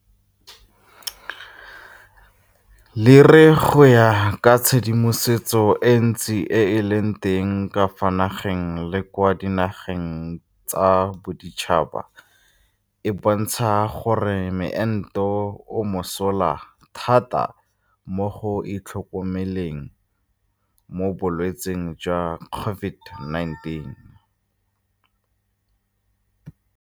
Le re go ya ka tshedimosetso e ntsi e e leng teng ka fa nageng le kwa dinageng tsa boditšhaba e bontsha gore moento o mosola thata mo go itlhokomeleng mo bolwetseng jwa COVID19.